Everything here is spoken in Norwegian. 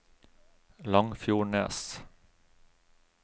Langfjordnes